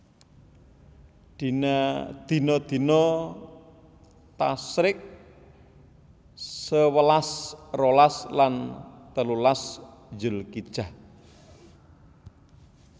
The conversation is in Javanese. Dina dina Tasyrik sewelas rolas lan telulas Zulhijjah